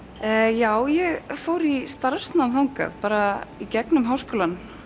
já ég fór í starfsnám þangað bara í gegnum Háskólann